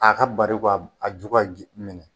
A ka bari ka a ju ka minɛ